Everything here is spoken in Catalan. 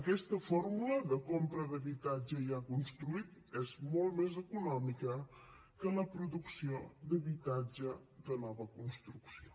aquesta fórmula de compra d’habitatge ja construït és molt més econòmica que la producció d’habitatge de nova construcció